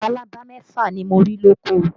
Labalábá mẹ́fà ni mo rí lóko